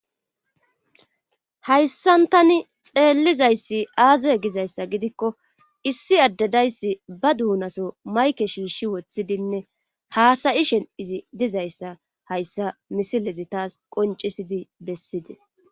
Aayssantani xeellizayssi aaze gizayssa gidikko issi addedayssi ba duunaso mayke shiishi woththidinne haasayi shen7izi dizayssa hayssa misilezi taas qoncisidi bessides.